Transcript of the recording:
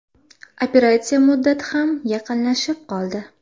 Operatsiya muddati ham yaqinlashib qoldi.